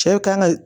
Cɛw kan ka